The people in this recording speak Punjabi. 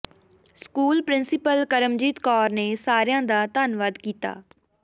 ਸਕੂਲ ਪ੍ਰਿੰਸੀਪਲ ਕਰਮਜੀਤ ਕੌਰ ਨੇ ਸਾਰਿਆਂ ਦਾ ਧੰਨਵਾਦ ਕੀਤਾ